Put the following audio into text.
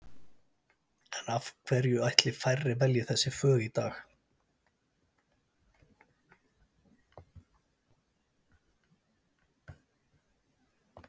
En af hverju ætli færri velji þessi fög í dag?